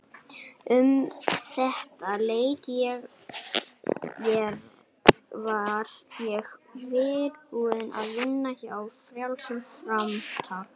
Um þetta leyti var ég byrjuð að vinna hjá Frjálsu framtaki.